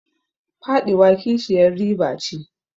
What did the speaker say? Faɗiwa kishiyar riba ce.